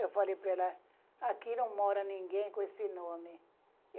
Eu falei para ela, aqui não mora ninguém com esse nome.